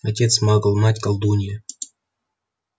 отец магл мать колдунья